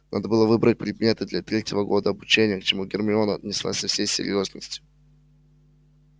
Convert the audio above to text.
надо было выбрать предметы для третьего года обучения к чему гермиона отнеслась со всей серьёзностью